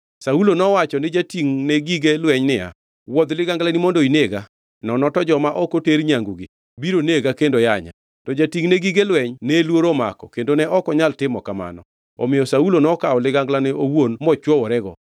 Saulo nowacho ni jatingʼne gige lweny niya, “Wuodh liganglani mondo inega, nono to joma ok oter nyangigi biro nega kendo yanya.” To jatingʼne gige lweny ne luoro omako kendo ne ok onyal timo kamano, omiyo Saulo nokawo liganglane owuon mochwoworego.